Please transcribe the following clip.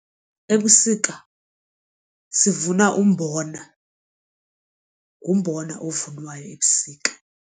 Ebusika sivuna umbona ngumbona ovunwayo ebusika.